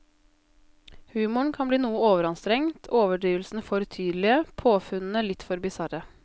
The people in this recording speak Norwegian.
Humoren kan bli noe overanstrengt, overdrivelsene for tydelige, påfunnene litt for bisarre.